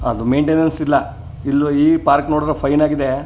ಅದು ಮೇಂಟೈನ್ನೆನ್ಸ್ ಇಲ್ಲಾ ಇಲ್ಲೂ ಈ ಪಾರ್ಕ್ ನೋಡಿದ್ರೆ ಫೈನ್ ಆಗಿದೆ.